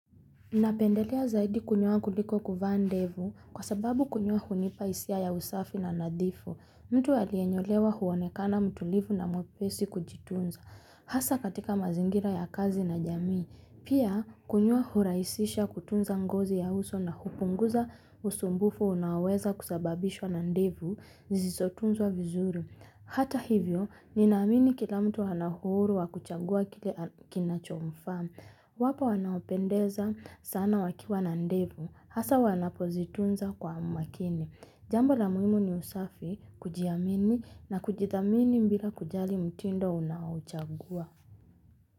Napendelea zaidi kunyoa kuliko kuvaa ndevu, kwa sababu kunyoa hunipa hisia ya usafi na nadhifu. Mtu aliyenyolewa huonekana mtulivu na mwepesi kujitunza. Hasa katika mazingira ya kazi na jamii. Pia, kunyoa huraisisha kutunza ngozi ya uso na hupunguza usumbufu unaoweza kusababishwa na ndevu zisizotunzwa vizuri. Hata hivyo, ninaamini kila mtu ana uhuru wa kuchagua kile kinachomfaa. Wapo wanaopendeza sana wakiwa na ndevu. Hasa wanapozitunza kwa makini. Jambo la muhimu ni usafi, kujiamini na kujithamini bila kujali mtindo unaouchagua.